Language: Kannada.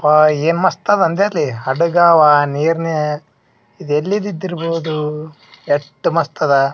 ವಾ ಏನ್ ಮಸ್ತದ ಅದಾ ಅಂದೆ ಅಲ್ಲಿ ಹಡಗವ ನೀರ್ನ ಇದು ಎಲ್ಲಿದ್ದಿದರ್ಬಹುದು ಎಟ್ಟ್ ಮಸ್ತದ .